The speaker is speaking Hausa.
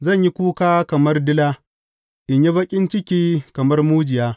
Zan yi kuka kamar dila, in yi baƙin ciki kamar mujiya.